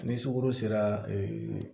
Ni sukoro sera